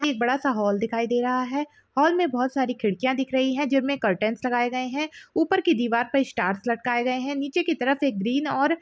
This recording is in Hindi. एक बड़ा सा हॉल दिखाई दे रहा है हॉल में बहुत सारी खिड़कियाँ दिख रही है जिनमे कर्टेन्स लगाए गये है ऊपर की दीवार पे स्टार्स लटकाए गये है नीचे की तरफ एक ग्रीन और--